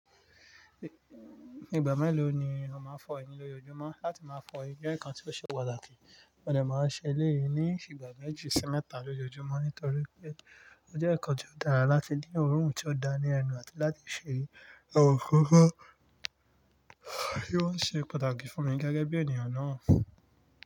Ní ìgbà mẹ́lò ni ó máa ń fọ ẹnu lójoojúmọ́? Láti máa fọ ẹnu jẹ́ ǹkan tí ó ṣe pàtàkì mo dà máa ń ṣe eléyìí ní ìgbà méjì sí mẹ́ta lójoojúmọ́ nítorí pé ó jẹ́ ǹkan tí ó dára láti ní ọrùn tí ó dáa ní ẹnu àti láti ṣe àwọn nkán wọ́n ṣe pàtàkì fún mi gẹ́gẹ́ bí ènìyàn náà.